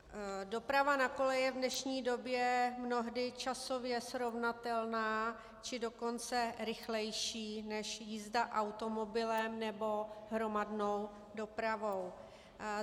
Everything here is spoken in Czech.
Doprava na kole je v dnešní době mnohdy časově srovnatelná, či dokonce rychlejší než jízda automobilem nebo hromadnou dopravou.